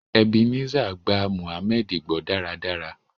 Ebenezer gbà mohammed gbó dáradára.